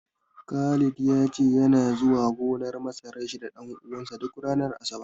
Khalid ya ce yana zuwa gonar masarar shi da ɗan uwansa duk ranar Asabar.